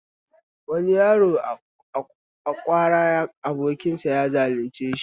Wani yaro a kawo ƙarar abokinsa ya zalunce sa